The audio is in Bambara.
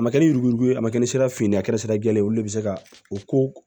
A ma kɛ ni yuruguyurugu ye a ma kɛ ni sira finan ye a kɛra sira jɛlen ye olu le bɛ se ka o ko